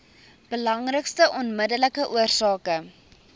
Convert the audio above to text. belangrikste onmiddellike oorsake